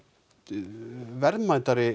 verðmætari